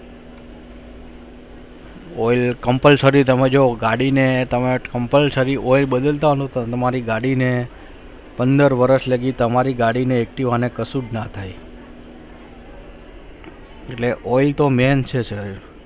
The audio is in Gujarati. oilcompulsory જો ગાડી મેં compulsory oil બદલતા તો તમારી ગાડી ને પંદ્રહ વર્ષ લગી ને તમારી ગાડી એક્તિવા ને કશુ જ ના થાય oil તો main છે sir